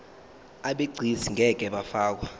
abegcis ngeke bafakwa